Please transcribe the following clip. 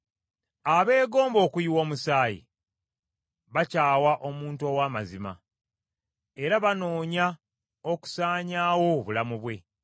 Abeegomba okuyiwa omusaayi bakyawa omuntu ow’amazima, era banoonya okusaanyaawo obulamu bwe.